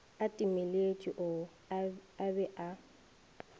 a timeletše o be a